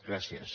gràcies